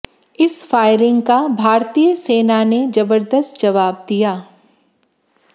इस फायरिंग का भारतीय सेना ने जबरदस्त जवाब दिया